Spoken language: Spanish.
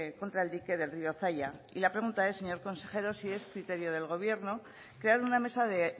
contra el dique del río zaia y la pregunta es señor consejero si es criterio del gobierno crear una mesa de